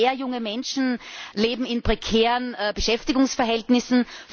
Immer mehr junge Menschen leben in prekären Beschäftigungsverhältnissen.